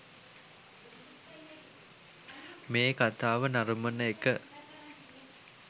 මේ කතාව නරඹන එක